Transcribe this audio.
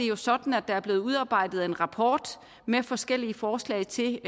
jo sådan at der er blevet udarbejdet en rapport med forskellige forslag til